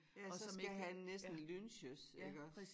Ja så skal han næsten lynches iggås